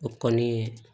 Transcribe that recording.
O kɔni